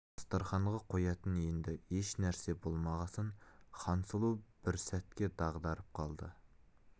дастарқанға қоятын енді еш нәрсе болмағасын хансұлу бір сәтке дағдарып қалды